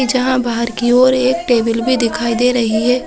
--जहाँ बाहर की ओर एक टेबल भी दिखाई दे रही है ।